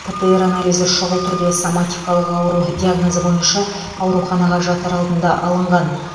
птр анализі шұғыл түрде соматикалық ауру диагнозы бойынша ауруханаға жатар алдында алынған